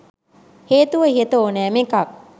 හේතුව ඉහත ඕනෑම එකක්